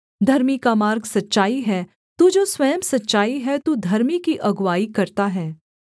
धर्मी का मार्ग सच्चाई है तू जो स्वयं सच्चाई है तू धर्मी की अगुआई करता है